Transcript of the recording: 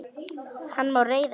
Hann má reiða sig á.